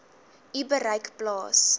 u bereik plaas